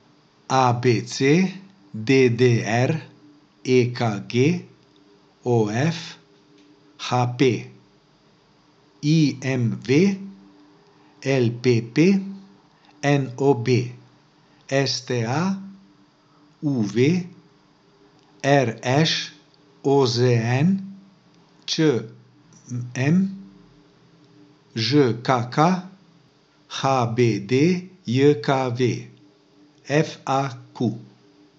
A B C; D D R; E K G; O F; H P; I M V; L P P; N O B; S T A; U V; R Š; O Z N; Č M; Ž K K; H B D J K V; F A Q.